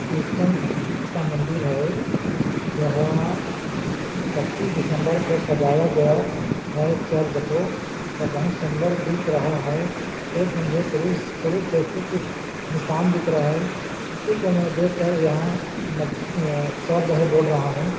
Christian का मंदिर है यह पच्चीस दिसंबर को सजाया गया है चर्ज को और बहुत सुंदर दिख रहा है एक मुझे क्रूस क्रूस जैसे कुछ निशान दिख रहा है जिसको मैं देख कर यहाँ मज्ज य चर्ज है बोल रहा हूँ।